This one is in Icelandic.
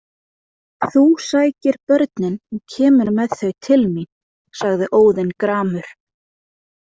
Þú sækir börnin og kemur með þau til mín, sagði Óðinn gramur.